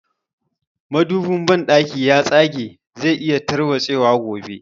Madobin banɗakin ya tsage zai iya tarwatse wa gobe